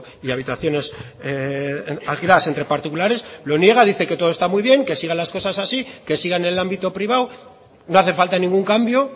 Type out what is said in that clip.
y habitaciones alquiladas entre particulares lo niega dice que todo está muy bien que sigan las cosas así que sigan en el ámbito privado no hace falta ningún cambio